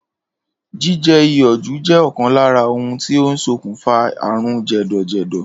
Jíje̩ iyò̩ jù jé̩ ò̩kan lára ohun tó ń sokùnfà àrùn jè̩dò̩jè̩dò̩